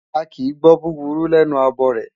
A kìí gbọ́ búburú lẹ́nu abọrẹ̀.